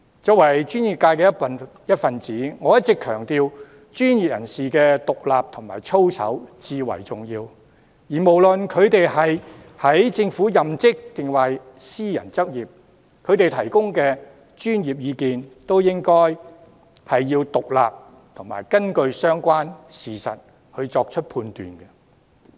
作為專業界的一分子，我一直強調專業人士的獨立和操守至為重要，無論他們是任職政府抑或私人執業，他們提供的專業意見都應該是獨立和根據相關事實作出的判斷。